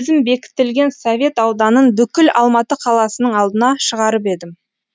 өзім бекітілген совет ауданын бүкіл алматы қаласының алдына шығарып едім